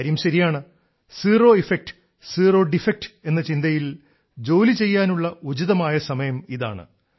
കാര്യം ശരിയാണ് zero effect zero defect എന്ന ചിന്തയിൽ ജോലി ചെയ്യാനുള്ള ഉചിതമായ സമയം ഇതാണ്